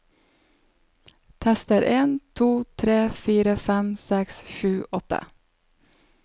Tester en to tre fire fem seks sju åtte